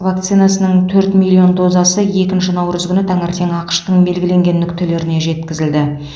вакцинасының төрт миллион дозасы екінші наурыз күні таңертең ақш тың белгіленген нүктелеріне жеткізілді